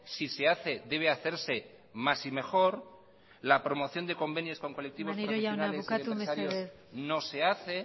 si se hace debe hacerse más y mejor la promoción de convenios con colectivos profesionales y empresarios no se hace